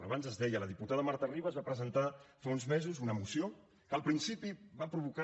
abans es deia la diputada marta ribas va presentar fa uns mesos una moció que al principi va provocar